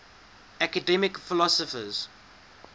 academic philosophers